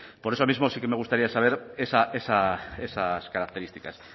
por eso mismo sí que me gustaría saber esas características